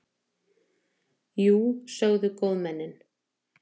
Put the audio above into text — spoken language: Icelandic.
Jú, sögðu góðmennin.